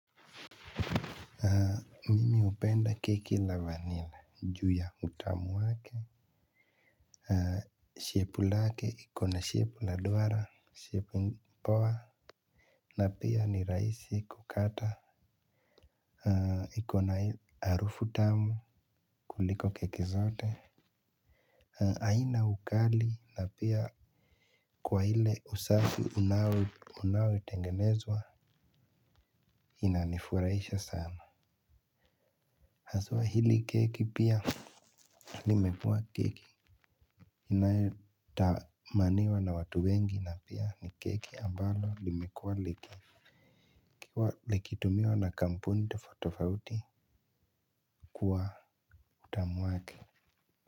Mimi upenda keki la vanilla ju ya utamu wake. Shepu lake iko na shepu la duara shepu mpoa na pia ni rahisi kukata. Iko na harufu tamu kuliko keki zote. Aina ukali na pia kwa ile usafi unaotengenezwa inanifuraisha sana. Haswa hili keki pia limekuwa keki. Inayotamaniwa na watu wengi na pia ni keki ambalo limekuwa liki likitumiwa na kampuni tofauti kwa utamu wake.